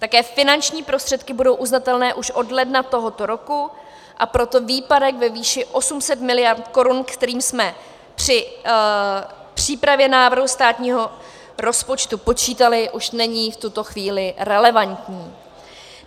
Také finanční prostředky budou uznatelné už od ledna tohoto roku, a proto výpadek ve výši 800 miliard korun, kterým jsme při přípravě návrhu státního rozpočtu počítali, už není v tuto chvíli relevantní.